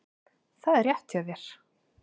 Það er rétt hjá þér.